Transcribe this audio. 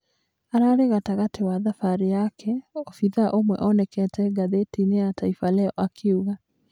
Ararĩ gatagatĩ wa thabarĩ yake," obithaa ũmwe onekete ngathĩti-ĩnĩ ya Taifa leo akiuga.